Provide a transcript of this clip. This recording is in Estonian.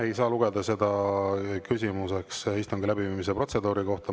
Ei saa lugeda seda küsimuseks istungi läbiviimise protseduuri kohta.